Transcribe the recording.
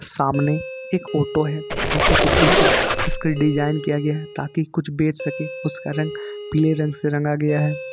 सामने एक ऑटो है ऑटो के पीछे इसका डिजाइन किया गया है ताकि कुछ बेच सके उसका रंग पीले रंग से रंगा गया हैं।